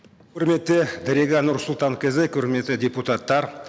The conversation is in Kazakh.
құрметті дариға нұрсұлтанқызы құрметті депутаттар